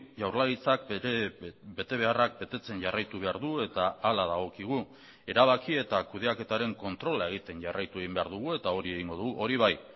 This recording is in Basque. jaurlaritzak bere betebeharrak betetzen jarraitu behar du eta hala dagokigu erabaki eta kudeaketaren kontrola egiten jarraitu egin behar dugu eta hori egingo dugu hori bai